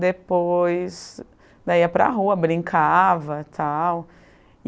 Depois... Daí ia para rua, brincava e tal.